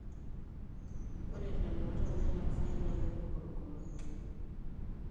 Ore lelo ootanya elak fain naa kepuo korokoroni.